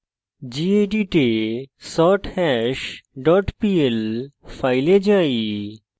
gedit এ sorthash dot pl এ যাই